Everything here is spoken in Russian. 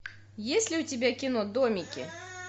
есть ли у тебя кино домики